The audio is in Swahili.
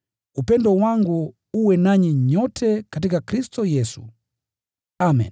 Upendo wangu uwe nanyi nyote katika Kristo Yesu. Amen.